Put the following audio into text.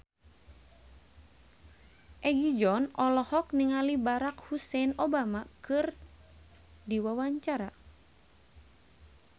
Egi John olohok ningali Barack Hussein Obama keur diwawancara